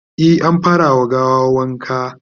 e an fara wa gawan wanka